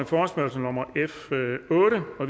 forespørgsel nummer f otte og